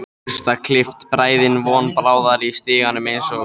Burstaklippt bræðin von bráðar í stiganum eins og